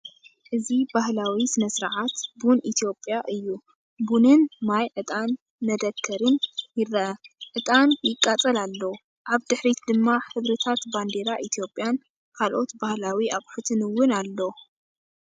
እዚ ባህላዊ ስነ-ስርዓት ቡን ኢትዮጵያ እዩ። ቡንን ማይ ዕጣን መደከሪን ይርአ። ዕጣን ይቃጸል ኣሎ። ኣብ ድሕሪት ድማ ሕብርታት ባንዴራ ኢትዮጵያን ካልኦት ባህላዊ ኣቑሑትን እውን ኣለዉ።